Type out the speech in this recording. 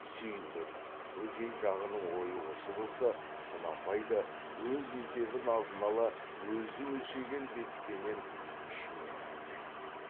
сүйіндік бөжей жағының ойы осы болса құнанбай да өз есебін алдын ала өзі өлшеген бетпенен ішіне ірікті